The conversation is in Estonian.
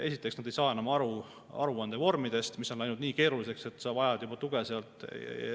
Esiteks, nad ei saa enam aru aruandevormidest, mis on läinud nii keeruliseks, et nad vajavad tuge.